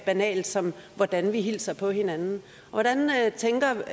banalt som hvordan vi hilser på hinanden hvordan tænker